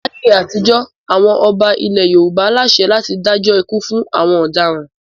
Láyé àtijọ́ àwọn ọba ilẹ̀ Yorùbá láṣẹ láti dájọ́ ikú fún àwọn ọ̀daràn.